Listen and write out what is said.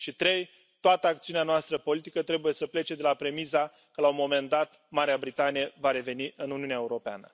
Și, în al treilea rând toată acțiunea noastră politică trebuie să plece de la premisa că, la un moment dat, Marea Britanie va reveni în Uniunea Europeană.